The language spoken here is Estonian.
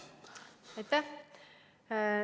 Aitäh!